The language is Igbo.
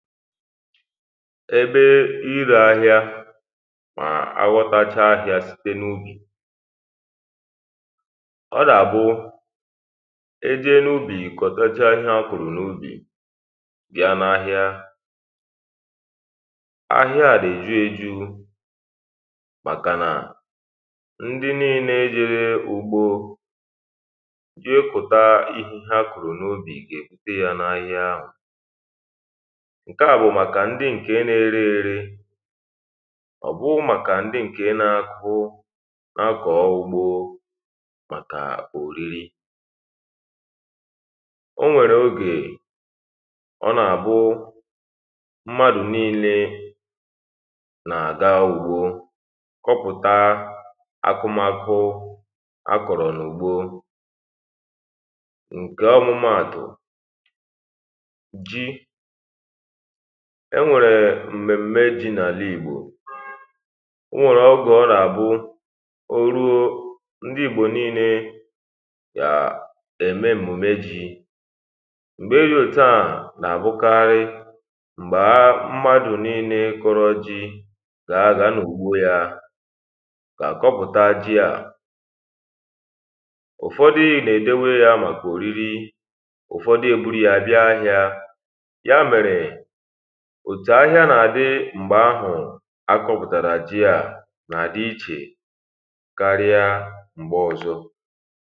ébe írē áhịá mà a ghọtachaa ahiā site ubì̀ ọ nà-àbụ e jee nubì kọdàchaa ihe a kụ̀rụ̀ n’ubì bị̣a n’ahịa ahịa a dị èjuējū màkà nà ndị níílē jere ūgbō jé kụ̀ta ihe ha kụ̀rụ̀ n’ubì gà èbute n’ahịa ahụ̀ ṅ̀kè à bụ̀ màkà ndị ṅ̀ke na-ere ērē ọ̀ bụghī màk̀a ̀ndị ṅ̀ke na-akụ na-akọ̣̀ ugbō màkà òriri o nwèrè ogè ọ nà àbụ mmadụ̀ niilē nà-àga ugbō kụpụ̀ta akụmakụ a kọ̀rò n’ùgbo ṅ̀ke ọmụmaàtụ̀ ji e nwèrè m̀mèm̀me ji n’àlaìgbò o nwèrè ọgwụ̀ ọ nà àbụ o ruo ndị Ìgbò niilē yà ème èmùme jī m̀gbe dị̄ òtu à nà àbụkarị m̀gbè a mmadụ̀ niilē kọrọ ji gà àga n’ùgbo yā gà kọpụtá ji à ụfọdị nà-èdowe yā màkà òriri ụfọdị eburu ya bịa ahịā̄ ya mèrè òtù ahịa nà-àdị m̀gbè ahụ̀ a kọpụ̀tàrà ji à nà àdị ichè karịa m̀gbe ọzọ